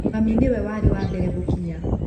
Mami nĩwe warĩ wa mbere gũkinya